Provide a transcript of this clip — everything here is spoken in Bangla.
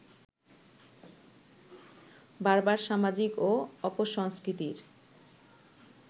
বারবার সামাজিক ও অপসংস্কৃতির